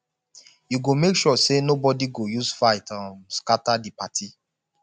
you go make sure sey nobodi go use fight um scatter di party